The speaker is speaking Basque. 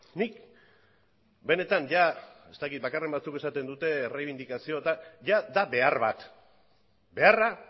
bakarren batzuk esaten dute errebindikazioa baina behar bat da beharra